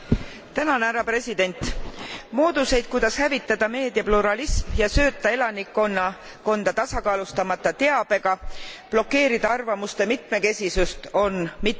Mooduseid, kuidas hävitada meedia pluralism ja sööta elanikkonda tasakaalustamata teabega, blokeerida arvamuste mitmekesisust, on mitmeid.